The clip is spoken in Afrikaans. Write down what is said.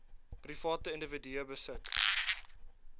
private individue besit